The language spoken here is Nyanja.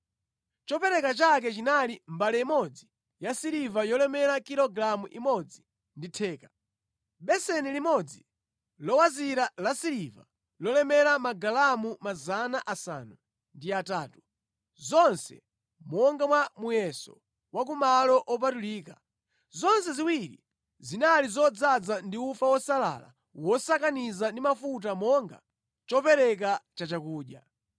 Chopereka chake chinali mbale imodzi yasiliva yolemera kilogalamu imodzi ndi theka, beseni limodzi lowazira lasiliva lolemera magalamu 800, zonse monga mwa muyeso wa ku malo opatulika, zonse ziwiri zinali zodzaza ndi ufa wosalala wosakaniza ndi mafuta monga chopereka chachakudya;